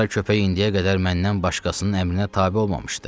Qara köpək indiyə qədər məndən başqasının əmrinə tabe olmamışdı.